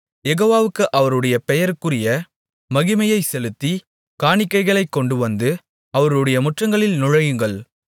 யெகோவாவுக்கு அவருடைய பெயருக்குரிய மகிமையைச் செலுத்தி காணிக்கைகளைக் கொண்டுவந்து அவருடைய முற்றங்களில் நுழையுங்கள்